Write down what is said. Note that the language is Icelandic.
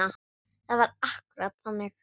Það var akkúrat þannig.